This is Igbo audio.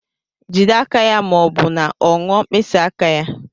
Jide aka ya ma ọ bụ na ọ ṅụọ mkpịsị aka ya.